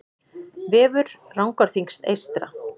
Vefur Rangárþings eystra